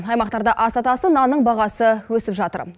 аймақтарда аса атасы нанның бағасы өсіп жатыр